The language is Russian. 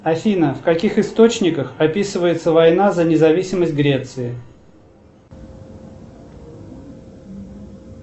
афина в каких источниках описывается война за независимость греции